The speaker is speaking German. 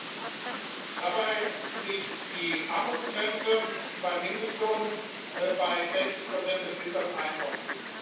14. Dabei liegt die Armutsgrenze beim Mindestlohn bei 60 des mittleren Einkommens.